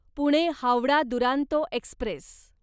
Pune Howrah Duronto Express